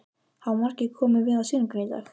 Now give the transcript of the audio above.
Hafa margir komið við á sýninguna í dag?